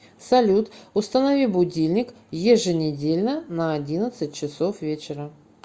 салют установи будильник еженедельно на одиннадцать часов вечера